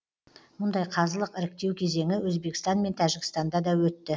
мұндай қазылық іріктеу кезеңі өзбекстан мен тәжікстанда да өтті